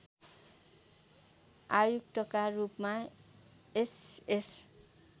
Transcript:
आयुक्तका रूपमा एसएस